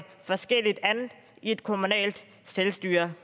forskelligt an i et kommunalt selvstyre